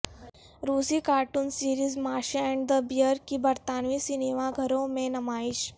روسی cartoon series Masha and the بیئرکی برطانوی سنیما گھروں میں نمائش